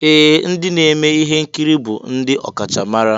Ee! Ndị na-eme ihe nkiri bụ ndị ọkachamara.